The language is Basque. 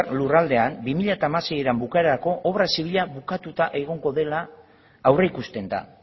lurraldean bi mila hamaseiren bukaerarako obra zibila bukatuta egongo dela aurreikusten da